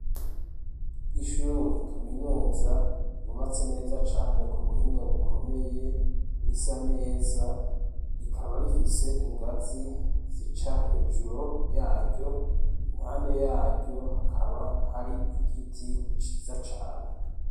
Ishure kaminuza, yubatse neza cane, ku buhinga bukomeye, risa neza, rikaba rifise ingazi zica hejuru yaryo, impande yaryo hakaba hari igiti ciza cane.